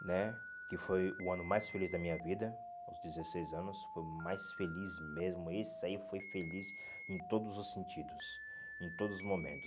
né, que foi o ano mais feliz da minha vida, aos dezesseis anos, foi o mais feliz mesmo, esse aí foi feliz em todos os sentidos, em todos os momentos.